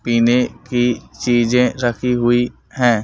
पीने की चीजें रखी हुई हैं।